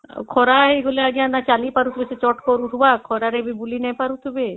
ଆଉ ଖରା ହେଇଗଲେ ଆଂଜ୍ଞା ନାଇଁ ଚାଲୁ ପାରୁଥିବା ଚକର ଆସୁଥିବା ଖରା ରେ ବୁଲି ନାଇଁ ପାରୁଥିବେ